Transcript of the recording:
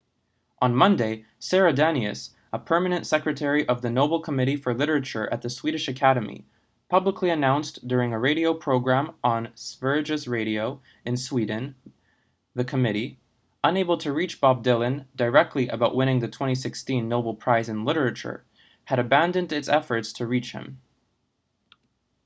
on monday sara danius permanent secretary of the nobel committee for literature at the swedish academy publicly announced during a radio program on sveriges radio in sweden the committee unable to reach bob dylan directly about winning the 2016 nobel prize in literature had abandoned its efforts to reach him